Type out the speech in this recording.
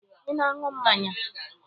Ị na-aṅụ mmanya?